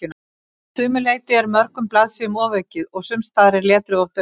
Að sumu leyti er mörgum blaðsíðum ofaukið og sumsstaðar er letrið of dauft.